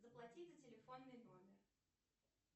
заплати за телефонный номер